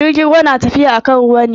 Jirgin ruwa na tafiya akan ruwa ne.